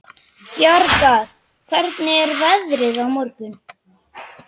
Bjargar, hvernig er veðrið á morgun?